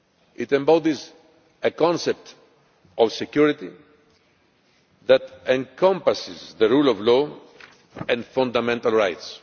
It embodies a concept of security that encompasses the rule of law and fundamental rights.